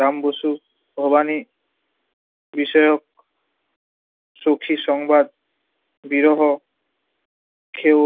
রাম বসু, ভবানী বিষায়ক সখি-সংবাদ, বিরহ, খেৰ